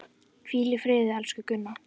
Hvíl í friði, elsku Gunna.